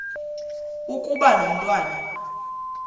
ukuba lo mntwana